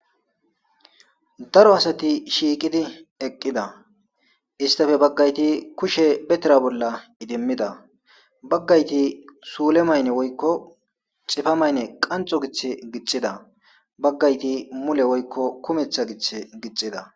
daro asati shiiqidi eqqida. istafe baggayti kushe be tira bolla idimmida baggayti suule mayne woykko xifa maynne qanxo gith gixxida, baggayti mule woykko kumetha gith gixida